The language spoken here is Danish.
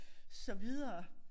Så videre